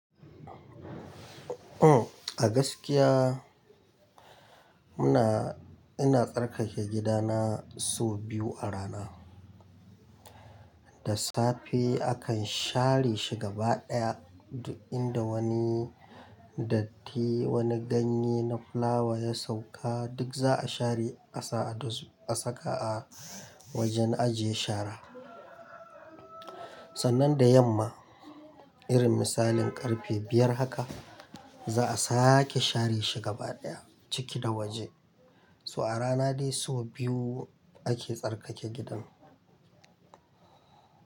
Uhm, a gaskiya muna-- ina tsarkake gidana sau biyu a rana. Da safe akan share shi gaba ɗaya, duk inda wani datti, wani ganye na fulawa ya sauka duk za a share a sa a du-- a saka a wajen aje shara. Sannan da yamma, irin misalin ƙarfe biyar haka za a sake share shi gaba ɗaya ciki da waje. So a rana dai sau biyu ake tsarkake gidan.